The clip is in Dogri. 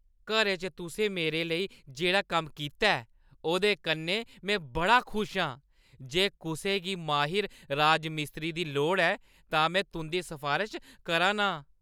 घरै च तुसें मेरे लेई जेह्ड़ा कम्म कीता ऐ ओह्दे कन्नै में बड़ा खुश आं। जे कुसै गी माहिर राजमिस्त्री दी लोड़ ऐ, तां में तुंʼदी सफारश करा ना आं।